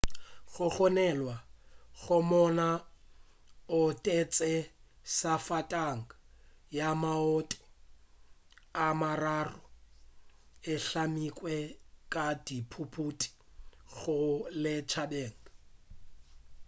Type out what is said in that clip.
go gononelwa go monna o otetše safatanaga ya maoto a mararo e hlamilwe ka dithuthupi go ya lešhabeng